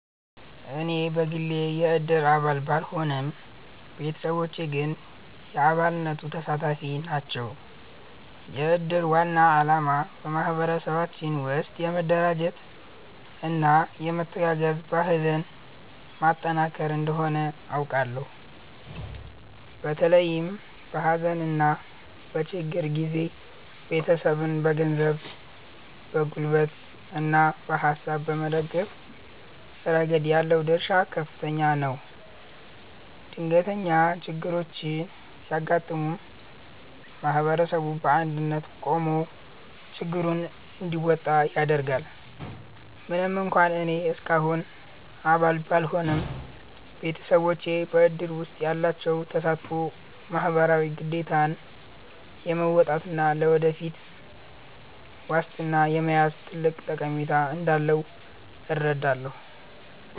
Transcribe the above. እኔ በግሌ የእድር አባል ባልሆንም፣ ቤተሰቦቼ ግን የአባልነቱ ተሳታፊ ናቸው። የእድር ዋና ዓላማ በማኅበረሰባችን ውስጥ የመረዳጃና የመተጋገዝ ባህልን ማጠናከር እንደሆነ አውቃለሁ። በተለይም በሐዘንና በችግር ጊዜ ቤተሰብን በገንዘብ፣ በጉልበትና በሐሳብ በመደገፍ ረገድ ያለው ድርሻ ከፍተኛ ነው። ድንገተኛ ችግሮች ሲያጋጥሙ ማኅበረሰቡ በአንድነት ቆሞ ችግሩን እንዲወጣ ያደርጋል። ምንም እንኳን እኔ እስካሁን አባል ባልሆንም፣ ቤተሰቦቼ በእድር ውስጥ ያላቸው ተሳትፎ ማኅበራዊ ግዴታን የመወጣትና ለወደፊት ዋስትና የመያዝ ትልቅ ጠቀሜታ እንዳለው እረዳለሁ።